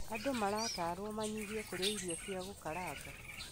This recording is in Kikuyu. Andũ maratarwo manyihie kũria ĩrio cia gũkaranga.